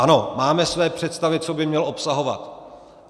Ano, máme své představy, co by měl obsahovat.